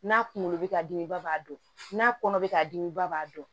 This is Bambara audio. N'a kunkolo bɛ ka dimi ba b'a dɔn n'a kɔnɔ bɛ ka dimi ba b'a dɔn